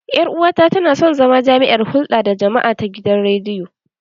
Ƴar uwata tana son zama jami'ar hulɗa da jama'a ta gidan rediyo.